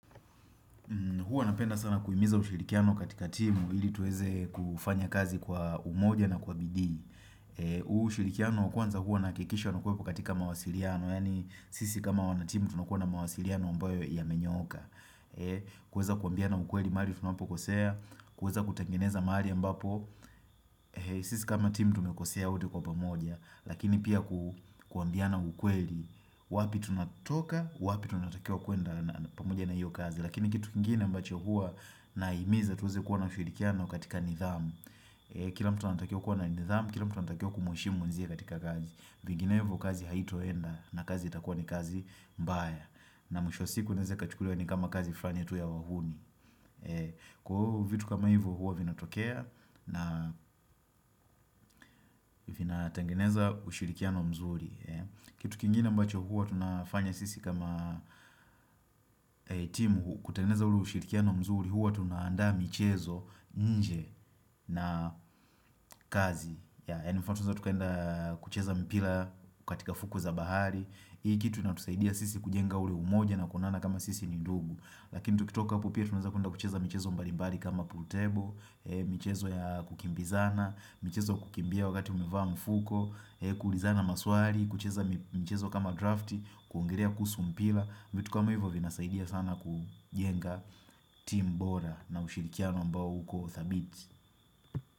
Huwa napenda sana kuimiza ushirikiano katika timu ili tuweze kufanya kazi kwa umoja na kwa bidii. Ushirikiano wa kwanza huwa nahakikisha unakwepo katika mawasiliano, yani sisi kama wana timu tunakuwa na mawasiliano amboyo yamenyooka. Kuweza kuambiana ukweli maali tunapokosea, kuweza kutangeneza maali ambapo, sisi kama timu tumekosea wote kwa pamoja. Lakini pia kuambiana ukweli, wapi tunatoka, wapi tunatakia kwenda pamoja na hiyo kazi. Lakini kitu kingine ambacho huwa na himiza tuweze kuwa na ushirikiano katika nidhamu Kila mtu anatakiwa kuwana nidhamu, kila mtu anatakiwa kumheshimu mwenziye katika kazi Vinginevyo kazi haitoenda na kazi itakuwa ni kazi mbaya na mwisho wa siku anaeze ikachukuliwa ni kama kazi fulani tu ya wahuni Kwa huo vitu kama hivo huwa vina tokea na vina tengeneza ushirikiano mzuri Kitu kingine mbacho hua tunafanya sisi kama timu kutengeneza ule ushirikiano mzuri huwa tunaandaa michezo nje na kazi. Ya, inafaa tueza tukaenda kucheza mpira katika fukwe za bahari. Hii kitu inatusaidia sisi kujenga ule umoja na kuonana kama sisi ni dugu. Lakini tukitoka hapa pia tunaeza kuenda kucheza michezo mbalimbali kama pool table. Michezo ya kukimbizana. Michezo kukimbia wakati umevaa mfuko. Kuulizana maswali. Kucheza michezo kama draft. Kuongelea kuhusu mpira. Vitu kama hivyo vinasaidia sana kujenga timu bora. Na mshirikiano ambao uko dhabiti.